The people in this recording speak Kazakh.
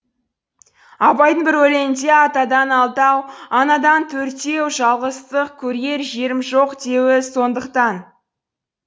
абайдың бір өлеңінде атадан алтау анадан төртеу жалғыздық көрер жерім жоқ деуі сондықтан